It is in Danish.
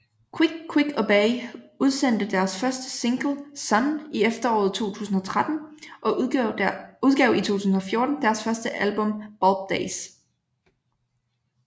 Quick Quick Obey udsendte deres første single Sunn i efteråret 2013 og udgav i 2014 deres første album Bulb Days